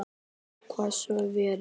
Ég kvað svo vera.